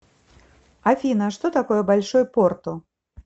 афина что такое большой порту